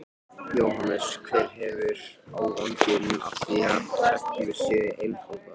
Jóhannes: Hver hefur ávinning af því að reglur séu einfaldaðar?